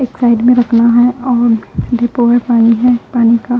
एक साइड में रखना है और डिपोल पानी है पानी का--